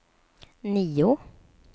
nio